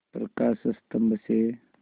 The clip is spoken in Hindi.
प्रकाश स्तंभ से